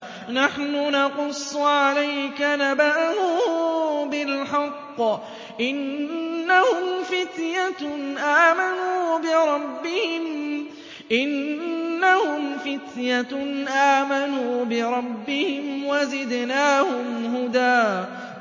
نَّحْنُ نَقُصُّ عَلَيْكَ نَبَأَهُم بِالْحَقِّ ۚ إِنَّهُمْ فِتْيَةٌ آمَنُوا بِرَبِّهِمْ وَزِدْنَاهُمْ هُدًى